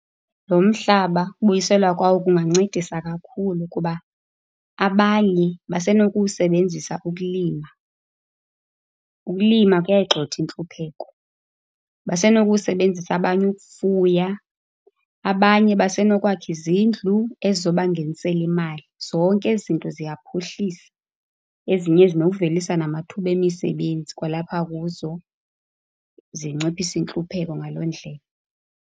Lo mhlaba, ukubuyiselwa kwawo kungancedisa kakhulu kuba abanye basenokuwusebenzisa ukulima. Ukulima kuyayigxotha intlupheko. Basenokuwusebenzisa abanye ukufuya, abanye basenokwakha izindlu ezizobangenisela imali. Zonke ezi zinto ziyaphuhlisa. Ezinye zinokuvelisa namathuba emisebenzi kwalapha kuzo, zinciphise intlupheko ngaloo ndlela.